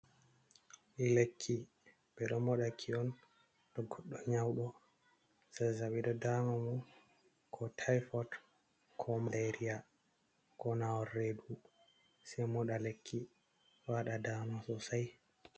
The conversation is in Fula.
Lekki ɓe ɗo moɗa ki on to goddo nyawɗo, zazzabi ɗo daama mo, koo tayfot, koo maleeriya, koo naawol reedu. Sey moɗa lekki, waɗa daama soosay.